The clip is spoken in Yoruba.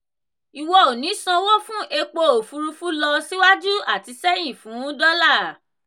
ìwọ ò ní sanwó fún epo òfurufú lọ síwájú àti sẹ́yìn fún dọ́là.